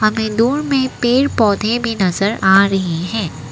हमें दूर में पेड़ पौधे भी नजर आ रही है।